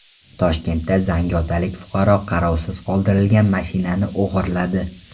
Toshkentda zangiotalik fuqaro qarovsiz qoldirilgan mashinani o‘g‘irladi.